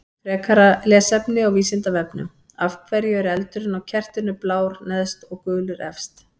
Frekara lesefni á Vísindavefnum: Af hverju er eldurinn á kertinu blár neðst og gulur efst?